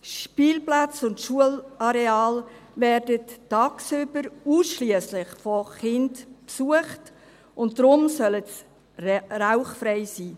Spielplätze und Schulareale werden tagsüber ausschliesslich von Kindern besucht und deswegen sollen sie rauchfrei sein.